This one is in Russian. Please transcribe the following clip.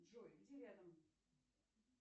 джой где рядом